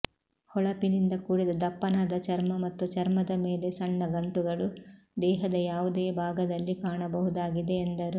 ಹೊಳಪಿನಿಂದ ಕೂಡಿದ ದಪ್ಪನಾದ ಚರ್ಮ ಮತ್ತು ಚರ್ಮದ ಮೇಲೆ ಸಣ್ಣ ಗಂಟುಗಳು ದೇಹದ ಯಾವುದೇ ಭಾಗದಲ್ಲಿ ಕಾಣಬಹುದಾಗಿದೆ ಎಂದರು